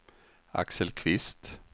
Axel Kvist